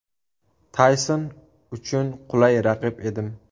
Tayson uchun qulay raqib edim.